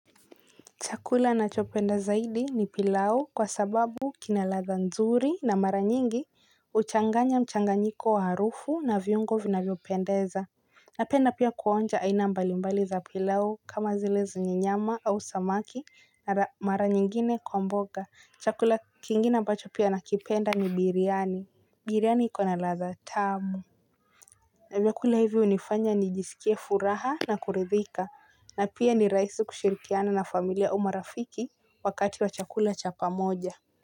Chakula na chopenda zaidi ni pilau kwa sababu kina ladha nzuri na mara nyingi uchanganya mchanganyiko wa harufu na viungo vinavyo pendeza. Napenda pia kuonja aina mbalimbali za pilau kama zile zenye nyama au samaki na mara nyingine kwa mboga. Chakula kingina ambacho pia nakipenda ni biriani. Biriani iko na ladha tamu vyakula hivyo hunifanya nijisikie furaha na kuridhika na pia ni rahisi kushirikiana na familia marafiki wakati wa chakula cha pamoja.